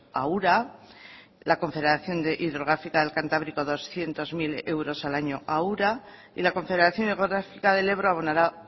a ura la confederación hidrográfica del cantábrico doscientos mil euros al año a ura y la confederación hidrográfica del ebro abonará